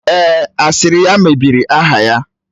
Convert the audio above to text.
Èè, asịrị ya mebiri aha ya